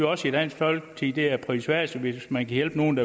også i dansk folkeparti at det er prisværdigt hvis man kan hjælpe nogle